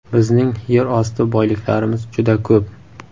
Bizning yer osti boyliklarimiz juda ko‘p.